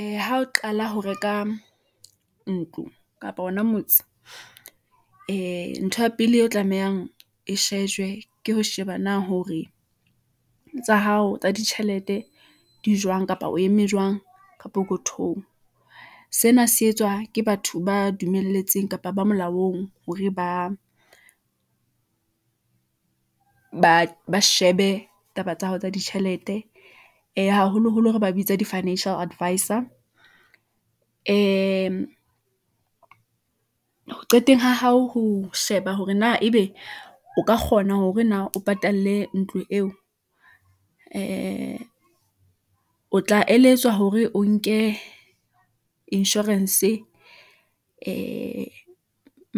Ee, ha o qala ho reka ntlo kapa hona motse , ee ntho ya pele e tlamehang e shejwe, ke ho sheba na hore tsa hao tsa ditjhelete di jwang kapa o eme jwang ka pokothong . Sena se etswa ke batho ba dumelletseng kapa ba molaong hore ba shebe taba tsa hao tsa ditjhelete , ee haholoholo re ba bitsa di-fiinancial advisor , ee ho qeteng ha hao ho sheba hore na ebe o ka kgona hore na o patale ntlo eo , ee o tla eletswa hore o nke insurance-e , ee